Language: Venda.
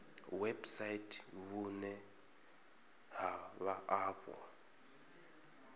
website vhune ha vha afho